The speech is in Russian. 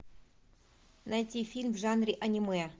найти фильм в жанре аниме